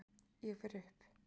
Ég fer upp.